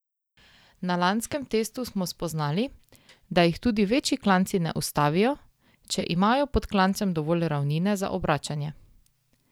Na lanskem testu smo spoznali, da jih tudi večji klanci ne ustavijo, če imajo pod klancem dovolj ravnine za obračanje.